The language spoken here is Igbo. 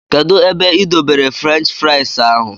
Kedụ ebe i dọbere fruench frais ahụ?